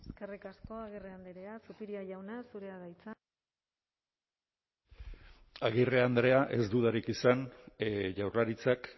eskerrik asko agirre andrea zupiria jauna zurea da hitza agirre andrea ez dudarik izan jaurlaritzak